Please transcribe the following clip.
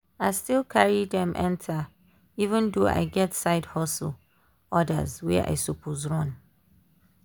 i still carry dem enter even though i get side hustle orders wey i suppose run.